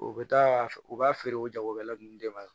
U bɛ taa u b'a feere o jagokɛla ninnu de ma